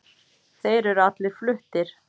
Þeir eru allir fluttir